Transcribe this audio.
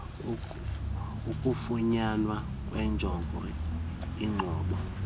ukufunyanwa kwenjongo inqobo